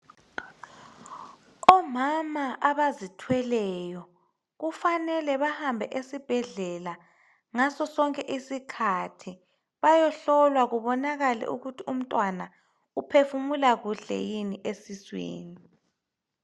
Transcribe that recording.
Omama abazithweleyo kufanele bahambe esibhedlela ngaso sonke isikhathi bayehlolwa kubonakale ukuthi umntwana uphefumula kuhle yini esiswini.